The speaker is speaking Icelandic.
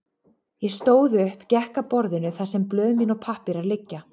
Ég stóð upp, gekk að borðinu þar sem blöð mín og pappírar liggja.